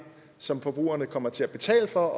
så forbrugerne kommer til at betale for